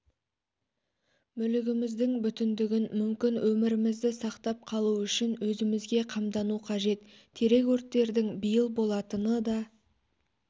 мүлігіміздің бүтіндігін мүмкін өмірімізді сақтап қалу үшін өзімізге қамдану қажет терек өрттердің биыл болатыны да